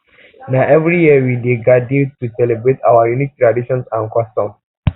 na every year we dey gadir to celebrate our unique traditions and um customs